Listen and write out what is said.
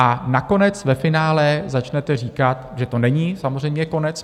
A nakonec ve finále začnete říkat, že to není samozřejmě konec.